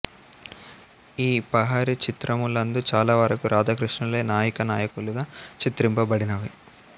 ఈ పహారీ చిత్రములందు చాలావరకు రాధా కృష్ణులే నాయికా నాయకులుగా చిత్రింపబడినవి